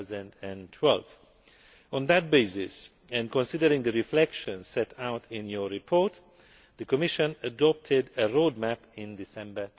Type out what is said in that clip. of 2012. On that basis, and considering the reflexions set out in Parliament's report, the Commission adopted a roadmap in December